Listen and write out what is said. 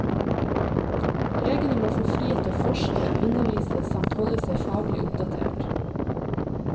Legene må få frihet til å forske, undervise, samt holde seg faglig oppdatert.